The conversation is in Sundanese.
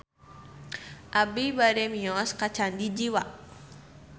Abi bade mios ka Candi Jiwa